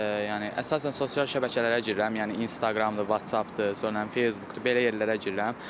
Yəni əsasən sosial şəbəkələrə girirəm, yəni İnstagramdır, WhatsAppdır, sonra Facebookdur, belə yerlərə girirəm.